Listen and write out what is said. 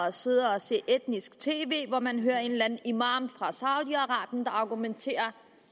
at sidde og se etnisk tv hvor man hører en eller anden imam fra saudi arabien der argumenterer